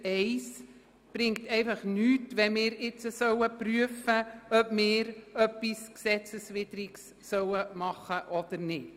Es bringt hingegen nichts, gestützt auf Ziffer 1 zu prüfen, ob wir etwas Gesetzeswidriges tun sollen oder nicht.